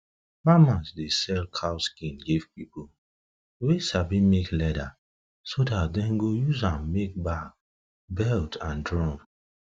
farmers dey sell cow skin give people wey sabi make leather so dat dem go use am make bag belt and drum